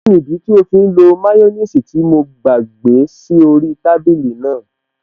Kí nìdí tí ó fí ń lo máyọ́nìsì tí mo gbàgbé sí orí í tábìlì náà?